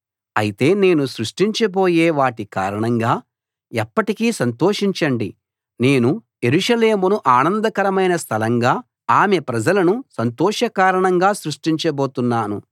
అయితే నేను సృష్టించబోయే వాటి కారణంగా ఎప్పటికీ సంతోషించండి నేను యెరూషలేమును ఆనందకరమైన స్థలంగా ఆమె ప్రజలను సంతోషకారణంగా సృష్టించబోతున్నాను